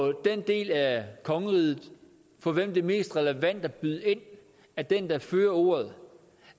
at den del af kongeriget for hvem det er mest relevant at byde ind er den der fører ordet